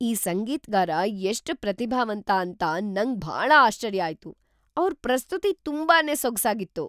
ಈ ಸಂಗೀತ್‌ಗಾರ ಎಷ್ಟ್ ಪ್ರತಿಭಾವಂತ ಅಂತ ನಂಗ್ ಭಾಳ ಆಶ್ಚರ್ಯ ಆಯ್ತು. ಅವ್ರ್‌ ಪ್ರಸ್ತುತಿ ತುಂಬಾನೇ ಸೊಗ್ಸಾಗಿತ್ತು.